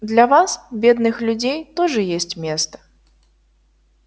для вас бедных людей тоже есть место